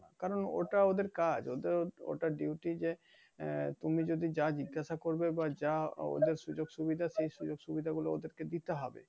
কারন ওটা ওদের কাজ ওটা ওটা duty যে আহ তুমি যদি যা জিজ্ঞাসা করবে বা জাওদের সুযোগ-সুবিধা সেই সুযোগ-সুবিধা গুলো ওদেরকে দিতে হবে।